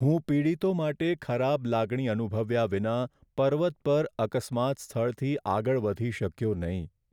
હું પીડિતો માટે ખરાબ લાગણી અનુભવ્યા વિના પર્વત પર અકસ્માત સ્થળથી આગળ વધી શક્યો નહીં.